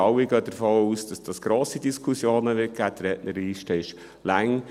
Wir alle gehen davon aus, dass dies grosse Diskussionen geben wird, die Rednerliste ist lang.